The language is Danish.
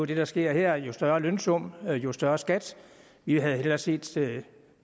det der sker her jo større lønsum jo større skat vi havde hellere set